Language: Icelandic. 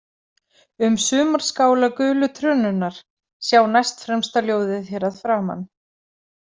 Um Sumarskála gulu trönunnar, sjá næstfremsta ljóðið hér að framan.